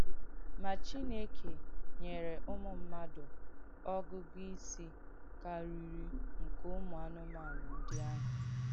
Ma Chineke nyèrē ùmù mmadụ ọ̀gụ̀gụ̀ ìsì kàrìrì nke ùmù ànùmànù ndị àhụ̀.